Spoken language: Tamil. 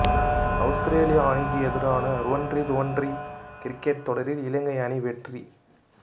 அவுஸ்திரேலிய அணிக்கு எதிரான ருவன்ரி ருவன்ரி கிரிக்கெட் தொடரில் இலங்கை அணி வெற்றி